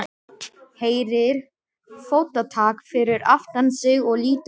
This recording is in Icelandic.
Heyrir fótatak fyrir aftan sig og lítur við.